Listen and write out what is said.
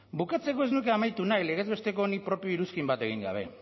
bukatzeko ez nuke amaitu nahi legez besteko honi propio iruzkin bat egin gabe